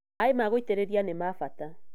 Maaĩ ma gũitĩrĩria nĩ ma bata